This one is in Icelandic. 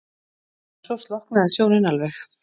En svo slokknaði sjónin alveg.